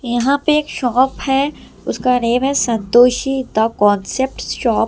यहां पे एक शॉप है उसका नेम है संतोषी द कांसेप्ट शॉप ----